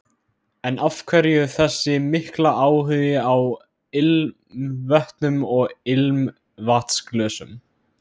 En af hverju þessi mikli áhugi á ilmvötnum og ilmvatnsglösum?